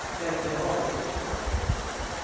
Ebbe Augustsson